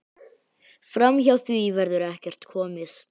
Framhjá því verður ekkert komist.